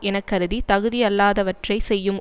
எனக்கருதித் தகுதி அல்லாதவற்றை செய்யும்